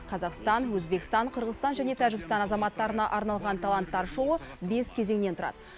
қазақстан өзбекстан қырғызстан және тәжікстан азаматтарына арналған таланттар шоуы бес кезеңнен тұрады